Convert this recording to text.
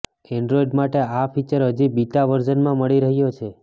Android માટે આ feature હજી બીટા વર્ઝનમાં મળી રહ્યો છે